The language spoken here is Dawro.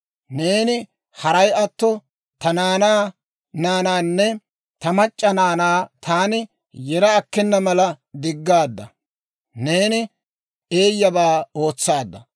Neeni haray atto, ta naanaa naanaanne ta mac'c'a naanaa taani yera akkena mala diggaadda. Neeni eeyyabaa ootsaadda.